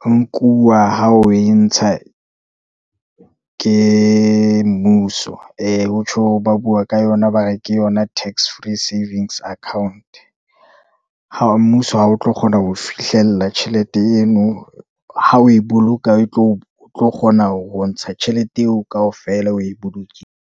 ho nkuwa ha oe ntsha ke mmuso. Ho tjho, hore ba bua ka yona, ba re ke yona tax free savings account-e. mmuso ha o tlo kgona ho e fihlella tjhelete eno, ha oe boloka o tlo kgona ho ntsha tjhelete eo kaofela, oe boloke.